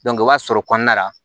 i b'a sɔrɔ kɔnɔna la